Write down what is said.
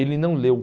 Ele não leu.